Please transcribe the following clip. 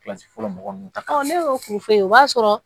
fɔlɔ mɔgɔ ninnu ta ne y'o furu ye o b'a sɔrɔ